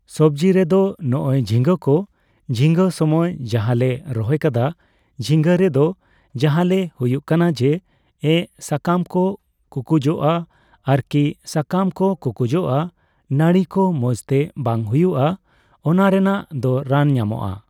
ᱥᱚᱵᱡᱤ ᱨᱮᱫᱚ ᱱᱚᱜᱼᱚᱭ ᱡᱷᱤᱸᱜᱟᱹ ᱠᱚ, ᱡᱷᱤᱸᱜᱟᱹ ᱥᱚᱢᱚᱭ ᱡᱟᱦᱟᱸᱞᱮ ᱨᱚᱦᱚᱭ ᱠᱟᱫᱟ. ᱡᱷᱤᱸᱜᱟᱹ ᱨᱮᱫᱚ ᱡᱟᱦᱟᱸᱞᱮ ᱦᱩᱭᱩᱜ ᱠᱟᱱᱟ ᱡᱮ ᱮᱸ, ᱥᱟᱠᱟᱢ ᱠᱚ ᱠᱩᱠᱩᱡᱚᱜᱼᱟ ᱟᱨᱠᱤ᱾ ᱥᱟᱠᱟᱢ ᱠᱚ ᱠᱩᱠᱩᱡᱚᱜᱼᱟ, ᱱᱟᱲᱤ ᱠᱚ ᱢᱚᱸᱡ ᱛᱮ ᱵᱟᱝ ᱦᱩᱭᱩᱜᱼᱟ ᱾ ᱚᱱᱟ ᱨᱮᱱᱟᱜ ᱫᱚ ᱨᱟᱱ ᱧᱟᱢᱚᱜᱼᱟ ᱾